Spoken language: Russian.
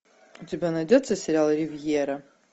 у тебя найдется сериал ривьера